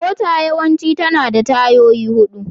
Mota yawanci tana da tayoyi huɗu.